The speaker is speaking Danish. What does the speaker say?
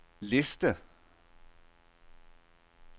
liste